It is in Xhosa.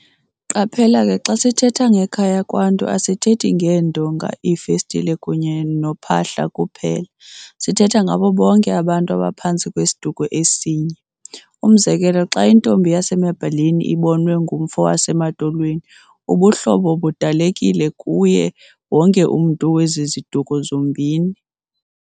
Qaphela ke xa sithetha ngekhaya kwaNtu asithethi ngeendonga, iifestile kunye nophahla kuphela, sithetha ngabo bonke abantu abaphantsi kwesiduko esinye. Umzekelo xa intombi yasemaBheleni ibonwe ngumfo wasemaTolweni, ubuhlobo budalekile kuye wonke umntu wezi ziduko zombini.